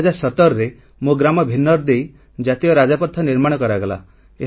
2017ରେ ମୋ ଗ୍ରାମ ଭିନ୍ନର ଦେଇ ଜାତୀୟ ରାଜପଥ ନିର୍ମାଣ କରାଗଲା